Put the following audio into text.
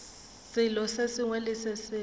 selo se sengwe le se